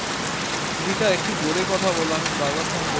তখন জানতেন না রিতা একটু জোরে কথা বোলো বার বার আমি তোমায় বলছি